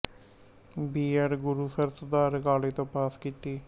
B Ed Gurusar Sudhar college ਤੋਂ pass ਕੀਤੀ